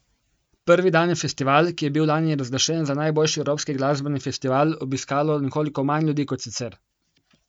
Prvi dan je festival, ki je bil lani razglašen za najboljši evropski glasbeni festival, obiskalo nekoliko manj ljudi kot sicer.